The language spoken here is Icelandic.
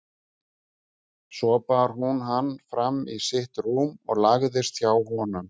Svo bar hún hann fram í sitt rúm og lagðist hjá honum.